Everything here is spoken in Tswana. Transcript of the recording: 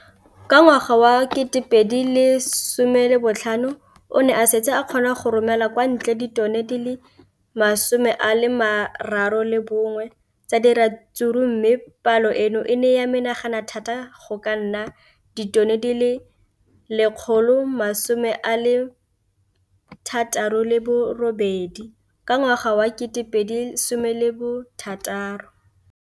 Ka ngwaga wa 2015, o ne a setse a kgona go romela kwa ntle ditone di le 31 tsa ratsuru mme palo eno e ne ya menagana thata go ka nna ditone di le 168 ka ngwaga wa 2016.